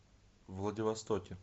владивостоке